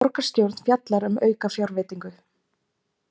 Borgarstjórn fjallar um aukafjárveitingu